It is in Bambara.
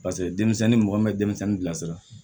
Paseke denmisɛnnin mɔgɔ min bɛ denmisɛnnin bilasira